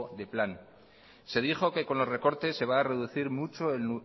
de plan se dijo que con los recortes se va a reducir mucho el